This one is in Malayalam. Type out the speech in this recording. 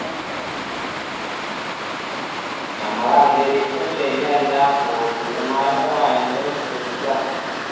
ഞമ്മള അന്തരീക്ഷം ശരിയല്ല police മാർ ഒക്കെ ഭയങ്കര strict ആ